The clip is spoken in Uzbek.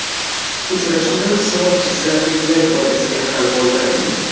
Uchrashuvda hisob jizzaxliklar foydasiga hal bo‘ldi.